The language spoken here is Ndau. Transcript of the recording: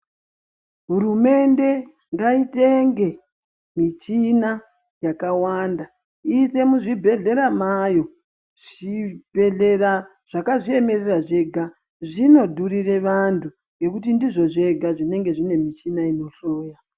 Hurumende ngaitenge mishina yakawanda iise muzvibhedhlera mayo. Zvibhedhlera zvakazviemerera zvega zvinodhurire vantu ngekuti ndizvo zvega zvinenge zviine mishina inohloya.